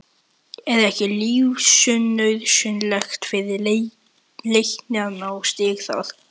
Er ekki lífsnauðsynlegt fyrir Leikni að ná í stig þar?